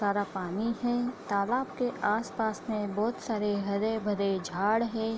सारा पानी है तालाब के आस-पास में बहोत सारे हरे-भरे झाड़ है।